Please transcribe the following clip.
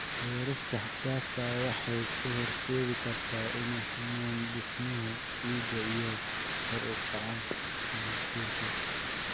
Beerista xad-dhaafka ah waxay u horseedi kartaa inay xumaato dhismaha ciidda iyo kor u kaca nabaad guurka.